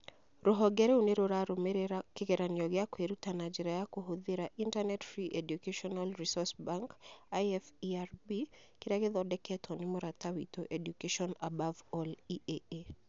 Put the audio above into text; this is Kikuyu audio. Rũhonge rĩu nĩ rĩrarũmĩrĩra kĩgeranio gĩa kwĩruta na njĩra ya kũhũthĩra Internet Free Educational Resource Bank (IFERB) kĩrĩa gĩthondeketwo nĩ mũrata witũ Education Above All (EAA).